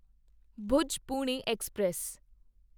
Bhuj Pune express